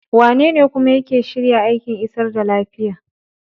Wanene kuma yake shirya aikin isar da lafiya?